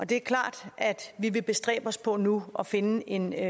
det er klart at vi vil bestræbe os på nu at finde en